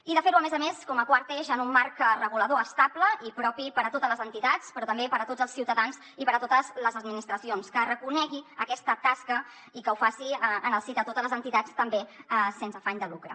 i de fer ho a més a més com a quart eix en un marc regulador estable i propi per a totes les entitats però també per a tots els ciutadans i per a totes les administracions que reconegui aquesta tasca i que ho faci en el si de totes les entitats també sense afany de lucre